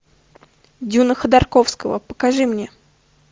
дюна ходорковского покажи мне